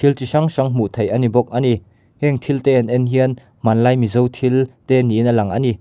thil chi hrang hrang hnuh theih a ni bawk a ni heng thil te an ne hian hmanlai mizo thil te niin a lang a ni.